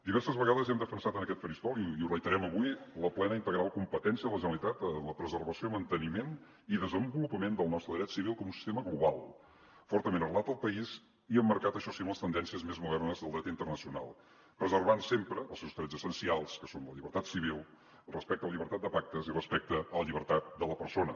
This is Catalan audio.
diverses vegades hem defensat en aquest faristol i ho reiterem avui la plena i integral competència de la generalitat en la preservació manteniment i desenvolupament del nostre dret civil com un sistema global fortament arrelat al país i emmarcat això sí en les tendències més modernes del dret internacional preservant sempre els seus drets essencials que són la llibertat civil el respecte a la llibertat de pactes i respecte a la llibertat de la persona